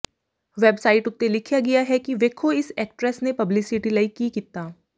websites ਉੱਤੇ ਲਿਖਿਆ ਗਿਆ ਹੈ ਕਿ ਵੇਖੋ ਇਸ ਐਕਟਰੇਸ ਨੇ ਪਬਲਿਸਿਟੀ ਲਈ ਕੀ ਕੀਤਾ